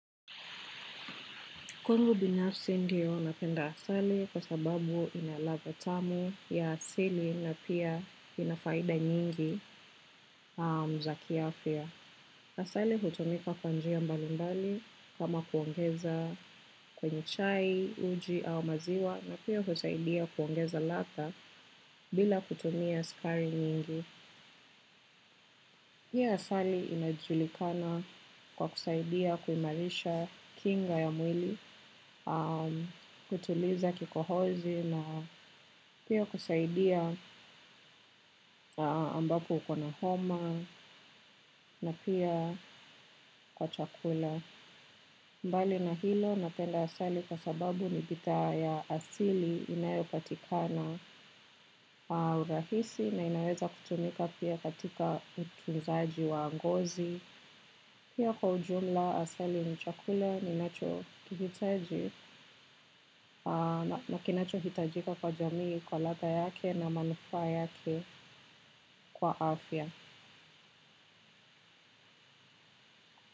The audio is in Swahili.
Kwanngu binafsi ndiyo napenda asali kwa sababu inalatha tamu ya asili na pia inafaida nyingi za kiafya. Asali hutumika kwa njia mbalimbali kama kuongeza kwenye chai uji au maziwa na pia husaidia kuongeza latha bila kutumia sukari nyingi pia asali inajulikana kwa kusaidia kuimarisha kinga ya mwili kutuliza kikohozi na pia kusaidia ambapo uko na homa na pia kwa chakula. Mbali na hilo napenda asali kwa sababu ni budha ya asili inayopatikana kwa urahisi na inawekutumika katika utunzaji wa ngozi. Pia kwa ujumla asali mchakule ninacho kihiteji na kinacho hitajika kwa jamii kwa lata yake na manufa yake kwa afya.